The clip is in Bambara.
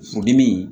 Furudimi